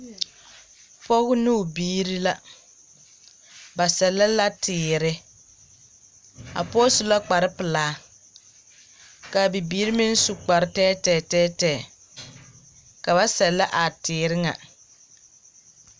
Pɔge ne o biiri la. Ba sɛllɛ la teere. A pɔɔ su la kparpelaa, kaa bibiiri meŋ su kpartɛɛtɛɛ tɛɛtɛɛ. Ka ba sɛllɛ a teere ŋa.